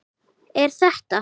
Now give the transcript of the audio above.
Er þetta?